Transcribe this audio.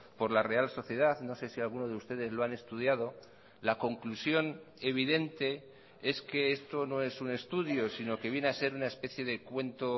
por la real sociedad no sé si alguno de ustedes lo han estudiado la conclusión evidente es que esto no es un estudio sino que viene a ser una especie de cuento